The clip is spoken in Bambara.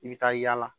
I bɛ taa yaala